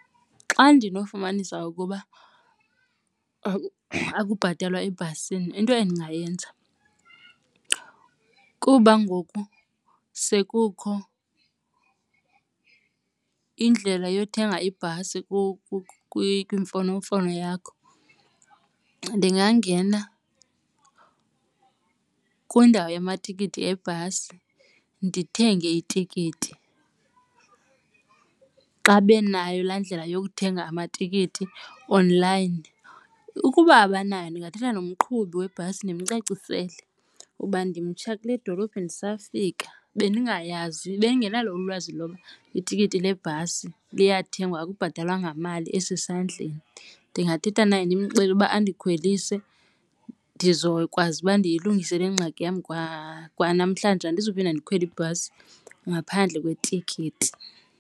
Xa ndinofumanisa ukuba akubhatalwa ebhasini into endingayenza kuba ngoku sekukho indlela yothenga ibhasi kwimfonomfono yakho ndingangena kwiindawo yamatikiti ebhasi ndithenge itikiti. Xa benayo laa ndlela yokuthenga amatikiti online. Ukuba abanayo ndingathetha nomqhubi webhasi ndimcacisele uba ndimtsha kule dolophi ndisafika bendingayazi bendingenalo ulwazi loba itikiti lebhasi liyathengwa akubhatalwa ngamali esesandleni. Ndingathetha naye ndimxelele ukuba andikhwelise ndizokwazi uba ndiyilungise le ngxaki yam kwanamhlanje andizuphinda ndikhwele ibhasi ngaphandle kwetikiti.